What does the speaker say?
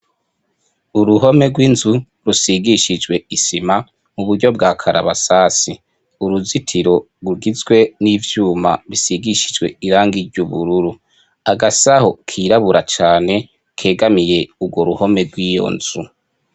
Uruhome rw'inzu rusigishijwe isima muburyo bwa karabasasu, Uruzitiro rugizwe n'ivyuma bisigishijwe irangi ry'ubururu, Agasahu kirabura cane kegamiye urwo ruhome rwiyo nzu.